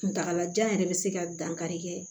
Kuntagalajan yɛrɛ bɛ se ka dankari kɛ